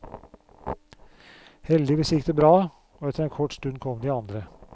Heldigvis gikk det bra, og etter en kort stund kom de andre.